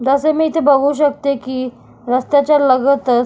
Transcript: जसे मी इथे बघू शकते की रस्त्याच्या लगतच--